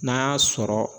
N'a y'a sɔrɔ